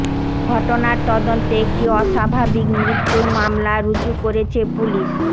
ঘটনার তদন্তে একটি অস্বাভাবিক মৃত্যুর মামলা রুজু করেছে পুলিশ